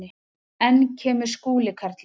Enn kemur Skúli karlinn.